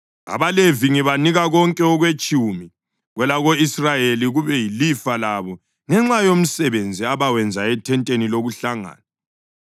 AbaLevi ngibanika konke okwetshumi kwelako-Israyeli kube yilifa labo ngenxa yomsebenzi abawenza ethenteni lokuhlangana.